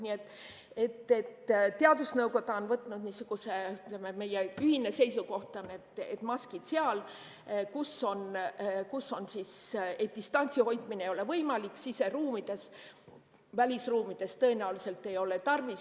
Nii et teadusnõukoda on võtnud niisuguse ühise seisukoha, et maskid seal, kus distantsi hoidmine ei ole võimalik, siseruumides ja piirkondades, kus nakatumine on kõrge.